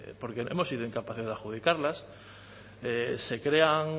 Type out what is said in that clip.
porque hemos sido incapaces de adjudicarlas se crean